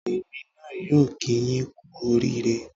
Èmi náà yóò kíi yín kú oríire